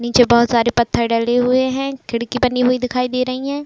नीचे बहोत सारे पत्थर डले हुए हैं। खिड़की बनी हुई दिखाई दे रही है।